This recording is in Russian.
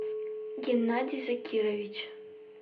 геннадий закирович